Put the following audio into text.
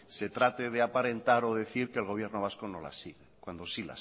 se trate de aparentar o decir que el gobierno vasco no las sigue cuando sí